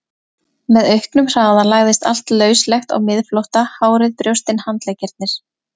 Með auknum hraða lagði allt lauslegt á miðflótta, hárið, brjóstin, handleggirnir.